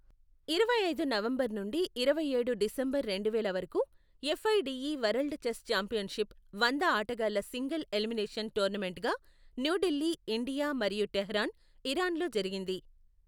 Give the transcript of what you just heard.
ఇరవై ఐదు నవంబర్ నుండి ఇరవై ఏడు డిసెంబర్ రెండువేల వరకు, ఎఫ్ఐడిఈ వరల్డ్ చెస్ ఛాంపియన్షిప్ వంద ఆటగాళ్ళ సింగిల్ ఎలిమినేషన్ టోర్నమెంట్గా న్యూఢిల్లీ, ఇండియా మరియు టెహ్రాన్, ఇరాన్ల్లో జరిగింది.